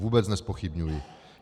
Vůbec nezpochybňuji.